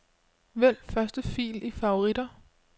Vælg første fil i favoritter.